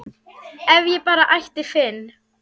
ef ég bara ætti Finn